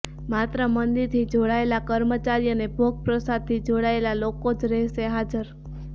માત્ર મંદિરથી જોડાયેલા કર્મચારી અને ભોગ પ્રસાદથી જોડાયેલા લોકો જ રહેશે હાજર